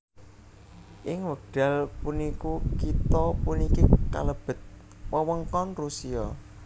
Ing wekdal puniku kitha puniki kalebet wewengkon Rusia